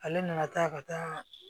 Ale nana ta ka taa